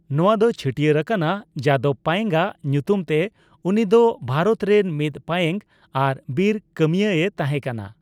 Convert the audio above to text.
ᱱᱚᱣᱟ ᱫᱚ ᱪᱷᱟᱴᱹᱭᱟᱹᱨ ᱟᱠᱟᱱᱟ ᱡᱟᱫᱚᱵᱽ ᱯᱟᱭᱮᱝ ᱟᱜ ᱧᱩᱛᱩᱢ ᱛᱮ, ᱩᱱᱤ ᱫᱚ ᱵᱷᱟᱨᱚᱛ ᱨᱮᱱ ᱢᱤᱫ ᱯᱟᱭᱮᱝ ᱟᱨ ᱵᱤᱨ ᱠᱟᱹᱢᱭᱟᱹ ᱮ ᱛᱟᱦᱮᱸ ᱠᱟᱱᱟ ᱾